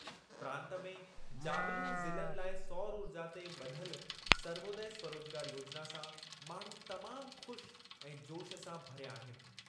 प्रांतु में जाबिलू ज़िलनि लाइ सौर ऊर्जा ते ॿधल सर्वोदय स्वरोजगार योजिना सां माण्हू तमामु ख़ुश ऐं जोशु सां भरिया आहिनि।